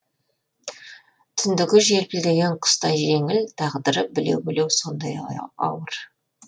түндігі желпілдеген құстай жеңіл тағдыры білеу білеу сондай ауыр